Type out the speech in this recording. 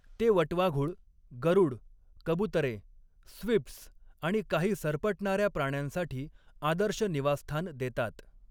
ते वटवाघुळ, गरुड, कबुतरे, स्विफ्ट्स आणि काही सरपटणाऱ्या प्राण्यांसाठी आदर्श निवासस्थान देतात.